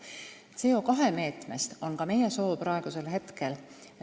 Soovime ka CO2 meetmest üldhooldekodusid parandada ja renoveerida.